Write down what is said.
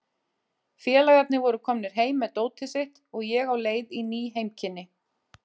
Félagarnir voru komnir heim með dótið sitt og ég á leið í ný heimkynni.